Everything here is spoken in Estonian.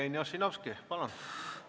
Jevgeni Ossinovski, palun!